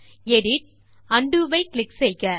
edit undo ஐ click செய்க